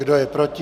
Kdo je proti?